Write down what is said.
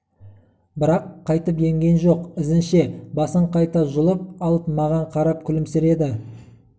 бірақ қайтып емген жоқ ізінше басын қайта жұлып алып маған қарап күлімсіреді